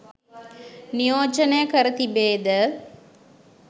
නියෝජනය කර තිබේ ද?